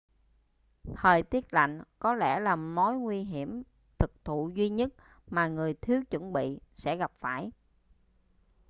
thời tiết lạnh có lẽ là mối nguy hiểm thực thụ duy nhất mà người thiếu chuẩn bị sẽ gặp phải